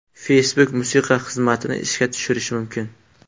Facebook musiqa xizmatini ishga tushirishi mumkin.